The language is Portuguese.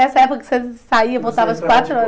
Essa época que você saia e voltava às quatro horas.